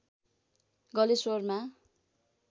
गलेश्वरमा